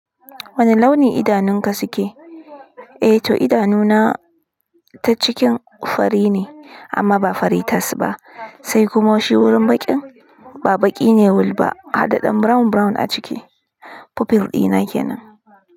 Wane launi idanunka suke? Eh to idanuna ta cikin fari ne amma ba fari tas ba, sai kuma shi wurin baƙin ba baƙi ne will ba hadaɗɗen brown brown a ciki. Pupil dina kenan.